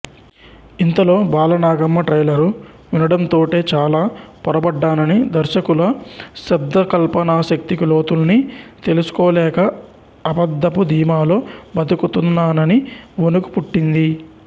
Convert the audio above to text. ఇంతలో బాలనాగమ్మ ట్రైలరు వినడంతోటే చాల పొరబడ్డాననీ దర్శకుల శబ్దకల్పనాశక్తి లోతుల్ని తెలుసుకోలేక అబద్ధపు ధీమాలో బతుకుతున్నానని వొణుకు పుట్టింది